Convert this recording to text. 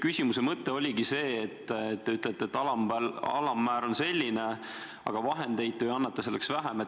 Küsimuse mõte oligi see, et te ütlete, et alammäär on selline, aga vahendeid te annate selleks vähem.